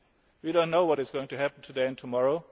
of the European Council. We do not know what is going